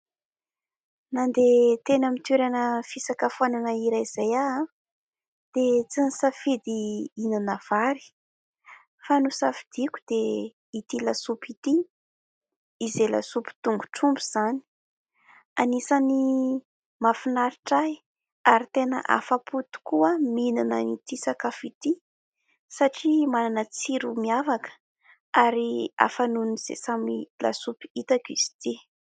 Nandeha teny amin'ny toerana fisakafoanana iray izay aho dia tsy nisafidy ihinana vary fa nosafidiako dia ity lasopy ity, izay lasopy tongotromby izany. Anisan'ny mahafinaritra ahy ary tena afa-po tokoa aho mihinana ity sakafo ity satria manana tsiro miavaka ary hafa noho izay samy lasopy hitako izy ity.